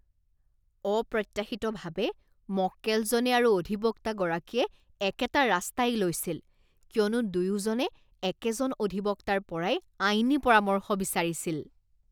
অপ্ৰত্যাশিতভাৱে, মক্কেলজনে আৰু অধিবক্তাগৰাকীয়ে একেটা ৰাস্তাই লৈছিল কিয়নো দুয়োজনে একেজন অধিবক্তাৰ পৰাই আইনী পৰামৰ্শ বিচাৰিছিল।